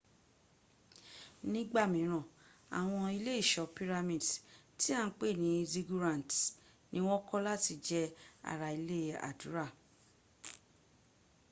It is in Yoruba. nígbà míràn àwọn ilé ìṣọ́ pyramid tí à ń pè ní ziggurats ní wọ́n kọ́ láti jẹ́ ara ilé àdúrà